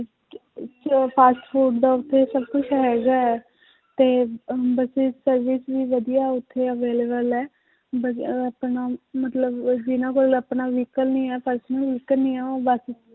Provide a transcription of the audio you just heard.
ਤੇ ਉਹ fast food ਦਾ ਉੱਥੇ ਸਭ ਕੁਛ ਹੈਗਾ ਹੈ, ਤੇ ਅਹ buses service ਵੀ ਵਧੀਆ ਉੱਥੇ available ਹੈ ਵਧੀਆ ਆਪਣਾ ਮਤਲਬ ਉਹ ਜਿੰਨਾਂ ਕੋਲ ਆਪਣਾ vehicle ਨੀ ਹੈ personal vehicle ਨੀ ਹੈ ਉਹ ਬਸ